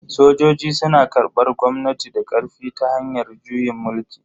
Sojoji suna karbar gwamnati da karfi ta hanyar juyin mulki.